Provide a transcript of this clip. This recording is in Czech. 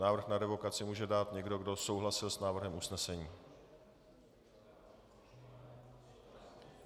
Návrh na revokaci může dát někdo, kdo souhlasil s návrhem usnesení.